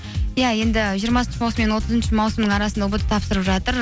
иә енді жиырмасыншы маусым мен отызыншы маусымның арасында ұбт тапсырып жатыр